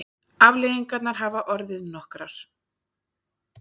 Afleiðingarnar hafa orðið nokkrar.